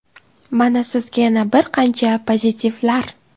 Mana sizga yana bir qancha pozitivlar.